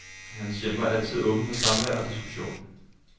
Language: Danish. Hans hjem var altid åbent for samvær og diskussion.